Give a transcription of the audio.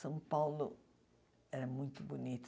São Paulo era muito bonito.